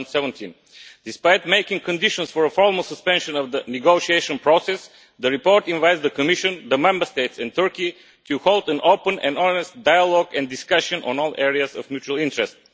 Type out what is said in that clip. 2017. Despite making conditions for a formal suspension of the negotiation process, the report invites the Commission, the Member States and Turkey to hold an open and honest dialogue and discussion on all areas of mutual interest.